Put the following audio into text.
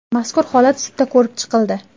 Mazkur holat sudda ko‘rib chiqildi.